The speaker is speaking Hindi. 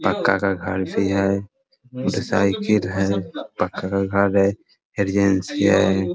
पक्का का घर भी है मोटरसाइकिल हैपक्का का घर है है